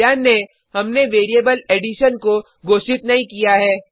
ध्यान दें हमने वेरिएबल एडिशन को घोषित नहीं किया है